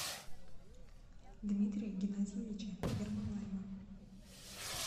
дмитрия геннадьевича ермолаева